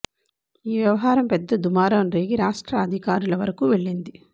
ఈ వ్యవహారం పెద్ద దూమారం రేగి రాష్ట్ర అధికారుల వరకు వెళ్లింది